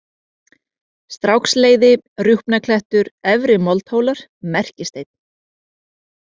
Stráksleiði, Rjúpnaklettur, Efri-Moldhólar, Merkisteinn